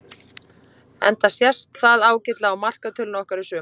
Enda sést það ágætlega á markatölunni okkar í sumar.